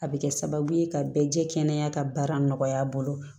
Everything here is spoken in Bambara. A bɛ kɛ sababu ye ka bɛɛ jɛ kɛnɛya ka baara nɔgɔya a bolo